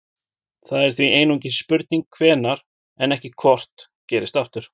Það er því einungis spurning hvenær en ekki hvort gerist aftur.